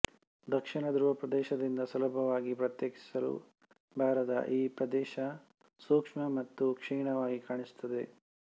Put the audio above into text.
ದಕ್ಷಿಣ ಧ್ರುವ ಪ್ರದೇಶದಿಂದ ಸುಲಭವಾಗಿ ಪ್ರತ್ಯೇಕಿಸಲು ಬಾರದ ಈ ಪ್ರದೇಶ ಸೂಕ್ಷ್ಮ ಮತ್ತು ಕ್ಷೀಣವಾಗಿ ಕಾಣಿಸುತ್ತದೆ